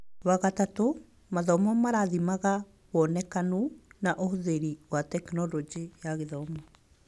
Wagatatũ, mathomo marathimaga wonekanu na ũhũthĩri wa Tekinoronjĩ ya Gĩthomo.